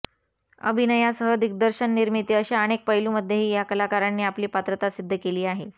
अभिनयासह दिग्दर्शन निर्माती अशा अनेक पैलूमध्येही या कलाकारांनी आपली पात्रता सिद्ध केली आहे